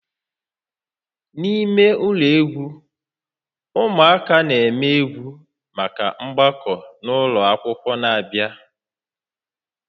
N'ime ụlọ egwu, ụmụaka na-eme egwu maka mgbakọ ụlọ akwụkwọ na-abịa